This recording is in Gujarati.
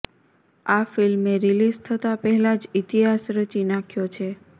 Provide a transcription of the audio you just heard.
આ ફિલ્મે રિલીઝ થતા પહેલા જ ઇતિહાસ રચી નાખ્યો છે